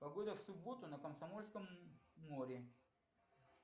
погода в субботу на комсомольском море